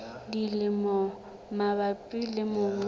le dimela mabapi le mongobo